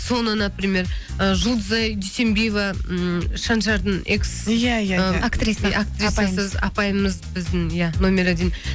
соны например ы жұлдызай дүйсенбиева ммм шаншардың экс иә иә апаймыз біздің иә номер один